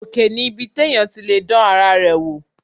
Òkè ni ibi téèyàn ti lè dán ara rẹ wò